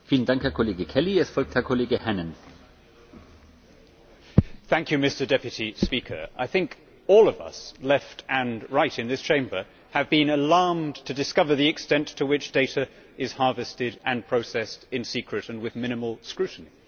Mr President, I think all of us, left and right in this Chamber, have been alarmed to discover the extent to which data is harvested and processed in secret and with minimal scrutiny.